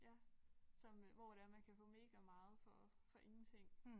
Ja som øh hvor det er man kan få megameget for for ingenting